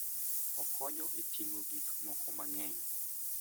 Okonyo e ting'o gik moko mang'eny.